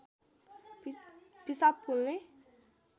पिसाब पोल्ने